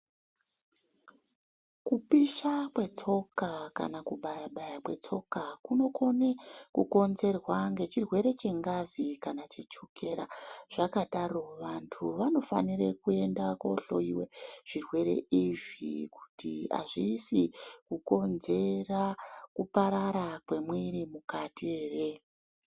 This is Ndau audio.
Kupisha kwetsoka kana kubaya-baya kwetsoka kunokone kukonzerwa ngechirwere chengazi kana chechukera . Zvakadaro vantu vanofanire kuenda kohlowiwe kuti zvirwere izvi kuti azvisi kukonzera kuparara kwemwiri mukati ere.